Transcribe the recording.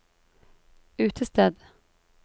utested